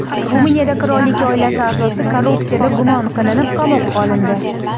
Ruminiyada qirollik oilasi a’zosi korrupsiyada gumon qilinib, qamoqqa olindi.